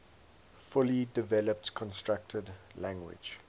fully developed constructed language